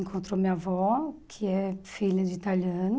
Encontrou minha avó, que é filha de italiano.